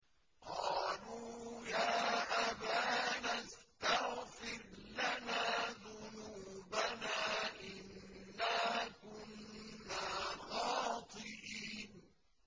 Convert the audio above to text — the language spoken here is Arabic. قَالُوا يَا أَبَانَا اسْتَغْفِرْ لَنَا ذُنُوبَنَا إِنَّا كُنَّا خَاطِئِينَ